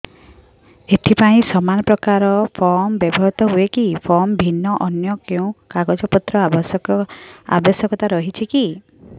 ଏଥିପାଇଁ ସମାନପ୍ରକାର ଫର୍ମ ବ୍ୟବହୃତ ହୂଏକି ଫର୍ମ ଭିନ୍ନ ଅନ୍ୟ କେଉଁ କାଗଜପତ୍ରର ଆବଶ୍ୟକତା ରହିଛିକି